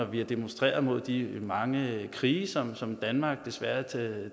vi har demonstreret mod de mange krige som som danmark desværre